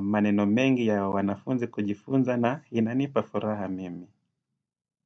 maneno mengi ya wanafunzi kujifunza na inanipa furaha mimi.